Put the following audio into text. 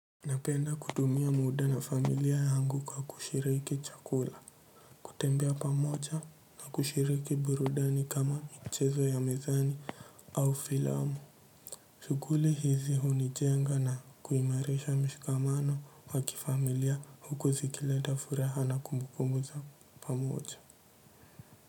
Napenda kudumia muda na familia yangu kwa kushiriki chakula, kutembea pamoja na kushiriki burudani kama michezo ya mezani au filamu. Shuguli hizi hunijenga na kuimareisha mshikamano waki familia huku zikilenda furaha na kumbukumbu za pamoja.